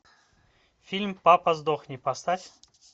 фильм папа сдохни поставь